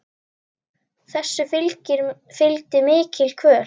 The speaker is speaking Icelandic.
Þessu fylgdi mikil kvöl.